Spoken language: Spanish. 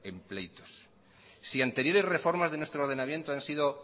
en pleitos si anteriores reformas de nuestro ordenamiento han sido